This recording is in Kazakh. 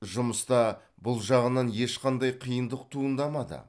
жұмыста бұл жағынан ешқандай қиындық туындамады